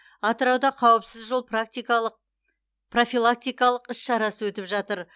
атырауда қауіпсіз жол практикалық профилактикалық іс шарасы өтіп жатыр